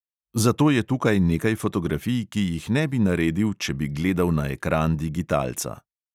Zato je tukaj nekaj fotografij, ki jih ne bi naredil, če bi gledal na ekran digitalca.